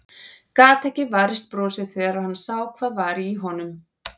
Gat ekki varist brosi þegar hann sá hvað var í honum.